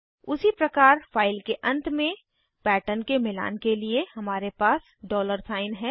उसी प्रकार फाइल के अंत में पैटर्न के मिलान के लिए हमारे पास डॉलर साइन है